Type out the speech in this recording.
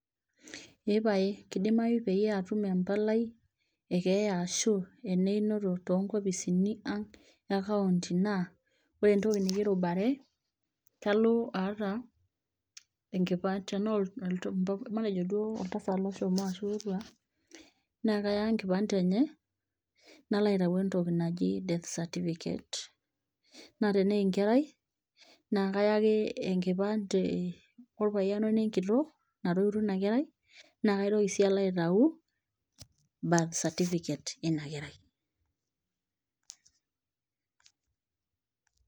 eepae kidimayu peyie atum empalai ekeeya arashu eneinoto tonkopisini ang e county[ naa ore entoki nikirubare kalo aata enkipande tanaa oltu mh matejo duo oltasat loshomo ashu otua naa kaya enkipande enye nalo aitau entoki naji death certificate naa tenaa enkerai naa kaya ake enkipande orpayian wenenkitok natoiutuo ina kerai naa kaitoki sii alo aitau birth certificate ina kerai.